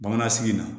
Bamanansigi la